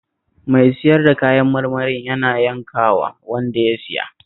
Mai sayar da kayan marmarin yana yankawa wanda ya siya